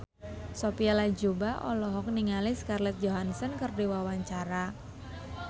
Sophia Latjuba olohok ningali Scarlett Johansson keur diwawancara